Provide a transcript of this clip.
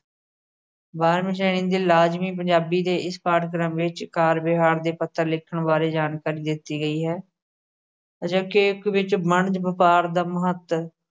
ਬਾਰਵੀ ਸ਼੍ਰੇਣੀ ਦੇ ਲਾਜਮੀ ਪੰਜਾਬੀ ਦੇ ਇਸ ਪਾਠ ਕ੍ਰਮ ਵਿੱਚ ਕਾਰ-ਵਿਹਾਰ ਦੇ ਪੱਤਰ ਲਿਖਣ ਬਾਰੇ ਜਾਣਕਾਰੀ ਦਿੱਤੀ ਗਈ ਹੈ। ਅਜੋਕੇ ਇਕ ਵਿਚ ਵਣਜ ਵਪਾਰ ਦਾ ਮਹਤ